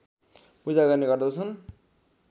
पूजा गर्ने गर्दछन्